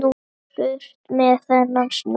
Burt með þennan snjó.